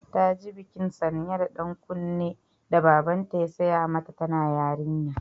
Ta ji bikin sanya da ɗan kunnen da Babanta ya sai mata tana yarinya.